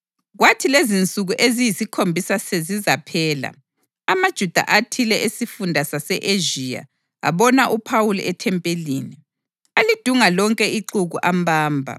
Kwathi lezinsuku eziyisikhombisa sezizaphela, amaJuda athile esifunda sase-Ezhiya abona uPhawuli ethempelini. Alidunga lonke ixuku ambamba